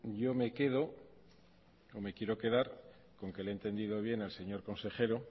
yo me quedo o me quiero quedar con que le he entendido bien al señor consejero